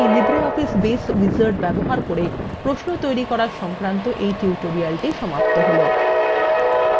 এখানেই LibreOffice baseএ wizard ব্যবহার করে প্রশ্ন তৈরী করা সংক্রান্ত এই tutorialthe সমাপ্ত হল